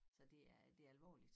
Så det er det alvorligt